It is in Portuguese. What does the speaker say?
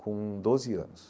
com doze anos.